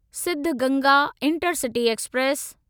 Siddaganga intercity express